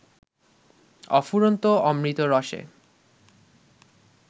অফুরন্ত অমৃত রসে